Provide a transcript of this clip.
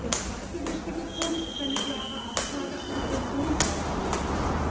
Der zweite wichtige Punkt ist eine klare Absage an die Pensionsautomatik.